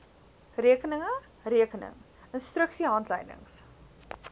rekeninge rekening instruksiehandleidings